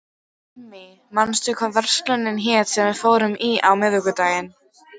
Irmý, manstu hvað verslunin hét sem við fórum í á miðvikudaginn?